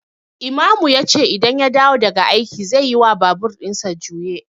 Imamu yace idan ya dawo daga aiki zeyi wa babur ɗinsa juye